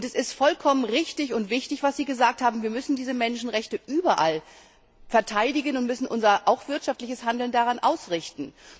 Es ist vollkommen richtig und wichtig, was Sie gesagt haben Wir müssen diese Menschenrechte überall verteidigen und müssen auch unser wirtschaftliches Handeln daran ausrichten.